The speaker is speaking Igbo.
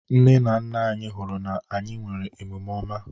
Nne na nna anyị hụrụ na anyị nwere omume ọma.